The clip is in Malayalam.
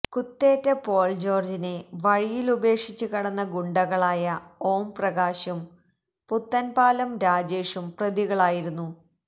കുത്തേറ്റ പോള് ജോര്ജിനെ വഴിയിലുപേക്ഷിച്ച് കടന്ന ഗുണ്ടകളായ ഓം പ്രകാശും പുത്തന്പാലം രാജേഷും പ്രതികളായിരുന്നു